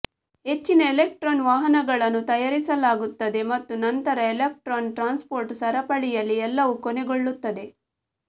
ಹೆಚ್ಚಿನ ಎಲೆಕ್ಟ್ರಾನ್ ವಾಹಕಗಳನ್ನು ತಯಾರಿಸಲಾಗುತ್ತದೆ ಮತ್ತು ನಂತರ ಎಲೆಕ್ಟ್ರಾನ್ ಟ್ರಾನ್ಸ್ಪೋರ್ಟ್ ಸರಪಳಿಯಲ್ಲಿ ಎಲ್ಲವೂ ಕೊನೆಗೊಳ್ಳುತ್ತದೆ